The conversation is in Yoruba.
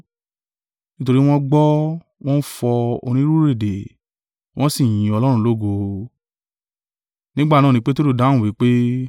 Nítorí wọ́n gbọ́, wọ́n ń fọ onírúurú èdè, wọn sì yin Ọlọ́run lógo. Nígbà náà ni Peteru dáhùn wí pé,